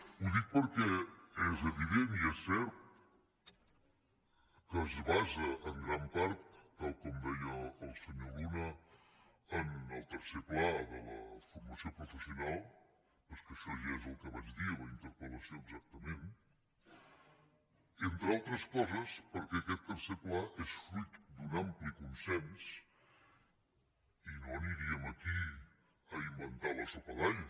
ho dic perquè és evident i és cert que es basa en gran part tal com deia el senyor luna en el tercer pla de la formació professional però és que això ja és el que vaig dir en la interpel·lació exactament entre altres coses perquè aquest tercer pla és fruit d’un ampli con·sens i no aniríem aquí a inventar la sopa d’all